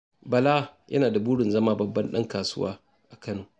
Bala yana da burin zama babban ɗan kasuwa a Kano.